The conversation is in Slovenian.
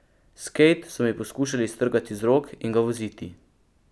Skejt so mi poskušali iztrgati iz rok in ga voziti.